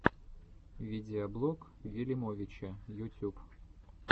видеоблог вилимовича ютюб